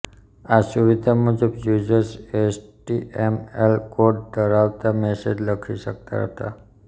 આ સુવિધા મુજબ યુઝર્સ એચટીએમએલ કોડ ધરાવતા મેસેજ લખી શકતા હતા